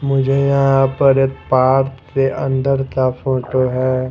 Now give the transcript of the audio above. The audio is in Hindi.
मुझे यहाँ पर के अंदर का फोटो है।